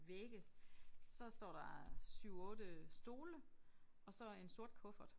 Vægge så står der 7 8 stole og så en sort kuffert